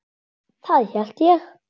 Það held ég